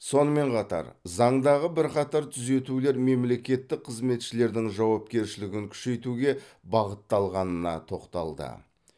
сонымен қатар заңдағы бірқатар түзетулер мемлекеттік қызметшілердің жауапкершілігін күшейтуге бағытталғанына тоқталды